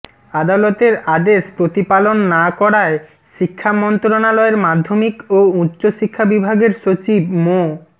আদালতের আদেশ প্রতিপালন না করায় শিক্ষা মন্ত্রণালয়ের মাধ্যমিক ও উচ্চ শিক্ষা বিভাগের সচিব মো